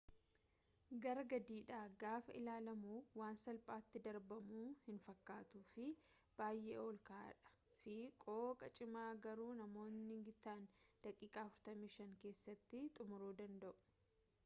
gara gadiidha gaafa ilaalamu waan salphaati darbamu hin fakkatu fi baayee ol ka'aa dha fi qooqa cimaa garuu namootni gitaan daqiiqa 45 keessatti xumuru danda'u